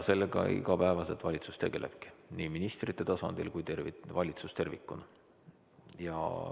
Sellega valitsus igapäevaselt tegelebki – nii ministrite tasandil kui ka valitsus tervikuna.